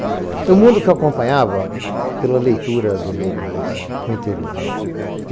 Um mundo que eu acompanhava pela leitura dos jornais no interior.